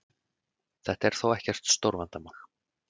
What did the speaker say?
Þetta er þó ekkert stórvandamál